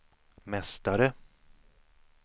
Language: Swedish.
mästare